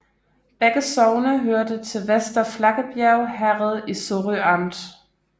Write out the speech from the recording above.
Begge sogne hørte til Vester Flakkebjerg Herred i Sorø Amt